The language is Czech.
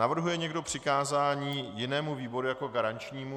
Navrhuje někdo přikázání jinému výboru jako garančnímu?